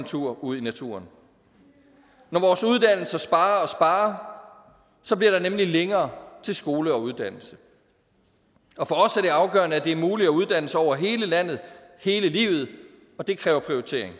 tur ud i naturen når vores uddannelser sparer og sparer bliver der nemlig længere til skole og uddannelse og for os er det afgørende at det er muligt at uddanne sig over hele landet hele livet og det kræver prioritering